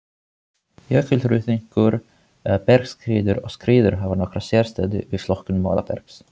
Jökulruðningur, bergskriður og skriður hafa nokkra sérstöðu við flokkun molabergs.